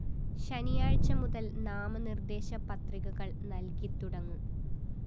ശനിയാഴ്ച മുതല്‍ നാമനിര്‍ദേശ പത്രികകള്‍ നല്‍കിത്തുടങ്ങും